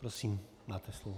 Prosím, máte slovo.